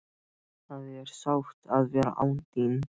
Það er sárt að vera án þín.